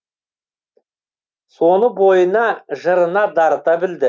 соны бойына жырына дарыта білді